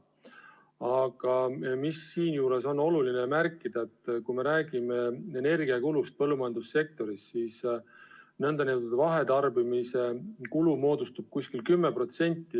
Aga siinjuures on oluline märkida, et kui me räägime energiakulust põllumajandussektoris, siis nn vahetarbimise kulu moodustab umbes 10%.